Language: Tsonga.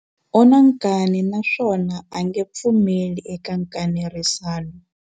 U na nkani naswona a nge pfumeli eka nkanerisano.